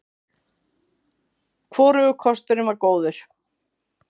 Hvorugur kosturinn var góður.